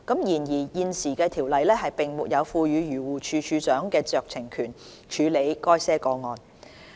然而，現時的《條例》並沒有賦予漁護署署長酌情權處理該些個案。